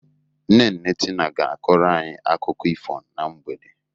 Nne nne Tina ga-akoro anyị akụkọ ifo na mgbede.